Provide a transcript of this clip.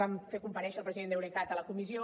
vam fer comparèixer el president d’eurecat a la comissió